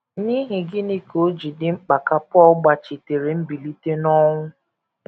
N’ihi gịnị ka o ji dị mkpa ka Pọl gbachitere mbilite n’ọnwụ?